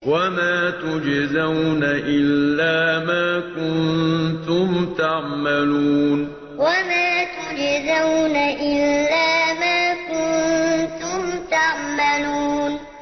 وَمَا تُجْزَوْنَ إِلَّا مَا كُنتُمْ تَعْمَلُونَ وَمَا تُجْزَوْنَ إِلَّا مَا كُنتُمْ تَعْمَلُونَ